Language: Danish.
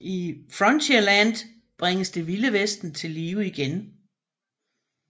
I Frontierland bringes Det Vilde Vesten til live igen